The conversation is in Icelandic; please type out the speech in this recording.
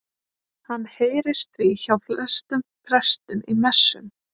Hann heyrist því hjá flestum prestum í messum.